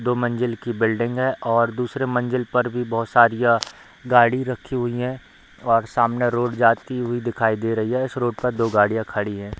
दो मंजिल की बिल्डिंग है और दूसरे मंजिल पर भी बहुत सारी अ गाड़ी रखी हुई है और सामने रोड जाती हुई दिखाई दे रही है | इस रोड पर दो गाड़िया खड़ी है |